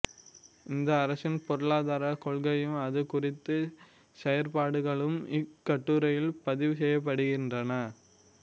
இந்த அரசின் பொருளாதாரக் கொள்கையும் அது குறித்த செயற்பாடுகளும் இக்கட்டுரையில் பதிவுசெய்யப்படுகின்றன